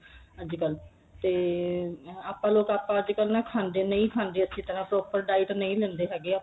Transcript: ਅੱਜਕਲ ਤੇ ਆਪਾਂ ਲੋਕ ਆਪਾਂ ਅੱਜਕਲ ਨਾ ਖਾਂਦੇ ਨਹੀਂ ਖਾਂਦੇ ਅੱਛੀ ਤਰ੍ਹਾਂ proper diet ਨਹੀਂ ਲੈਂਦੇ ਹੈਗੇ ਆਪਾਂ